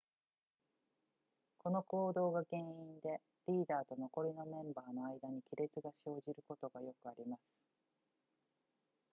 この行動が原因でリーダーと残りメンバーの間に亀裂が生じることがよくあります